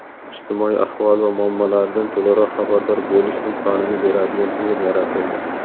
ijtimoiy ahvoli va muammolaridan to‘laroq xabardor bo‘lish imkonini beradigan tizim yaratildi.